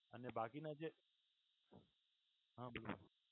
અને બાકીના જે અમ્મ